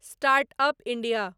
start up India